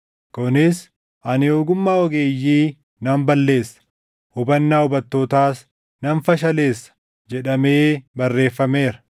Kunis, “Ani ogummaa ogeeyyii nan balleessa; hubannaa hubattootaas nan fashaleessa” + 1:19 \+xt Isa 29:14\+xt* jedhamee barreeffameera.